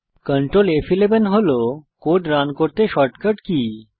control ফ11 হল code run করতে শর্টকাট কী